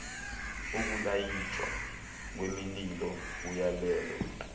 ukulayitwa kwemililo kuyalelwa